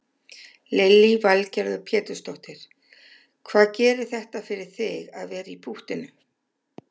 Lillý Valgerður Pétursdóttir: Hvað gerir þetta fyrir þig að vera í púttinu?